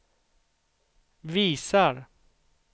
visar